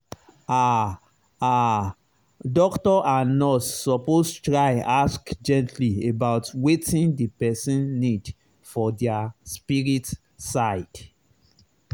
ah ah doctor and nurse suppose try ask gently about wetin the person need for their spirit side.